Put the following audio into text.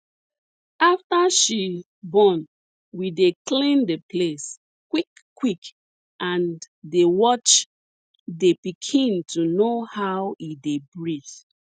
after she born we dey clean the place quick quick and dey watch the pikin to know how e dey breathe